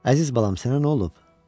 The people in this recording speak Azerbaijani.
Əziz balam, sənə nə olub?